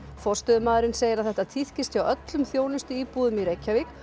forstöðumaðurinn segir að þetta tíðkist hjá öllum þjónustuíbúðum í Reykjavík